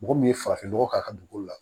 Mɔgɔ min ye farafinnɔgɔ k'a ka dugukolo la